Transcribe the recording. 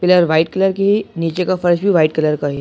Pillar white colour की है नीचे का फर्श भी वाइट कलर का है।